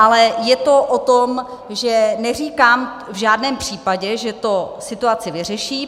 Ale je to o tom, že neříkám v žádném případě, že to situaci vyřeší.